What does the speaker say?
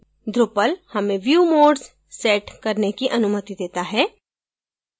drupal हमें view modes set करने की अनुमति set है